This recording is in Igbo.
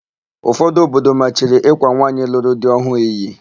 Ụfọdụ obodo machiri ịkwa nwaanyị lụrụ di ọhụụ iyi.